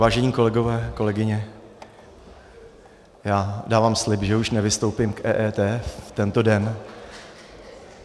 Vážení kolegové, kolegyně, já dávám slib, že už nevystoupím k EET v tento den.